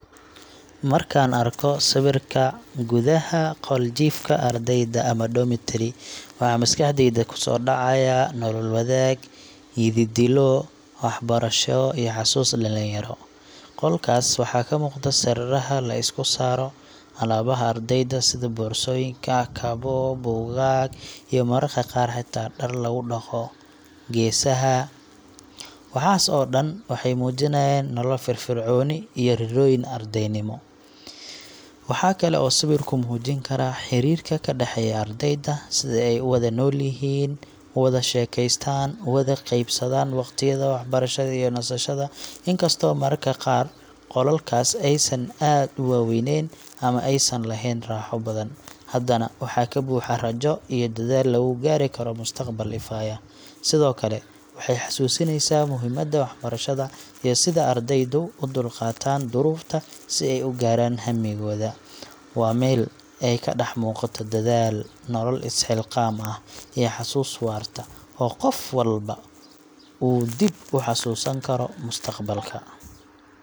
Markaan arko sawirka gudaha qol jiifka ardayda – ama dormitory waxaa maskaxdayda kusoo dhacaya nolol wadaag, yididiilo waxbarasho iyo xasuuso dhalinyaro. Qolkaas waxaa ka muuqda sariiraha la isku saaro, alaabaha ardayda sida boorsooyinka, kabo, buugaag, iyo mararka qaar xitaa dhar lagu dhaqo geesaha. Waxaas oo dhan waxay muujinayaan nolol firfircoon iyo riyooyin ardaynimo. Waxaa kale oo sawirku muujin karaa xiriirka ka dhexeeya ardayda – sida ay u wada noolyihiin, u wada sheekeystaan, u wada qaybsadaan waqtiyada waxbarashada iyo nasashada. Inkastoo mararka qaar qolalkaas aysan aad u weynayn ama aysan lahayn raaxo badan, haddana waxa ka buuxa rajo iyo dadaal lagu gaari karo mustaqbal ifaya. Sidoo kale, waxay xasuusinaysaa muhiimadda waxbarashada iyo sida ardaydu u dulqaataan duruufta si ay u gaaraan hammigooda. Waa meel ay ka dhax muuqato dadaal, nolol is-xilqaamis ah, iyo xusuus waarta oo qof walba uu dib u xasuusan karo mustaqbalka.